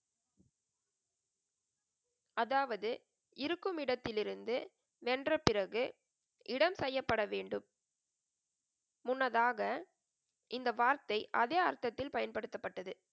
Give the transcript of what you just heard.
அதாவது இருக்கும் இடத்தில் இருந்து வென்ற பிறகு இடம் பெயர்ப்பட வேண்டும். முன்னதாக இந்த வார்த்தை அதே அர்த்தத்தில் பயன்படுத்தப்பட்டது.